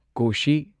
ꯀꯣꯁꯤ